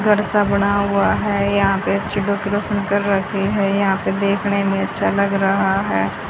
घर सा बणा हुआ है यहां पर अच्छे से डेकोरेशन कर रहे है यहां पर देखणे में अच्छा लग रहा है।